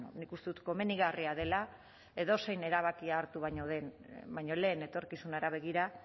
bueno nik uste dut komenigarria dela edozein erabakia hartu baino lehen etorkizunera begira